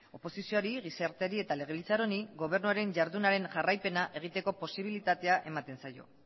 oposizioari gizarteari eta legebiltzar honi gobernuaren jardunaren jarraipena egiteko posibilitatea ematen zaio